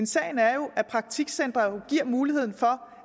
sagen er jo at praktikcentre giver mulighed for